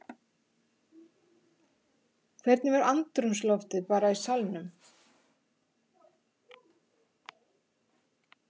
Hvernig var andrúmsloftið bara í salnum?